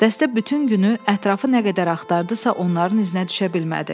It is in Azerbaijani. Dəstə bütün günü ətrafı nə qədər axtardısa, onların iznə düşə bilmədi.